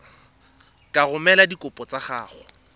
ka romela dikopo tsa gago